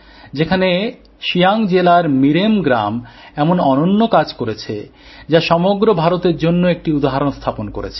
যেখানে সিয়া়ং জেলার মিরেম গ্রাম এমন অনন্য কাজ করেছে যা সমগ্র ভারতের জন্য একটি উদাহরণ স্থাপন করেছে